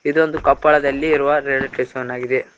ಇದೊಂದು ಕೊಪ್ಪಳದಲ್ಲಿ ಇರುವ ರೈಲ್ವೆ ಸ್ಟೇಷನ್ ಆಗಿದೆ.